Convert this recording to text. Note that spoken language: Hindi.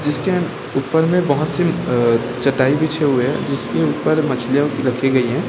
जिसके ऊपर में बहोत सी अ चटाई बिछे हुए हैं जिसके ऊपर मछलियां रखी गई हैं।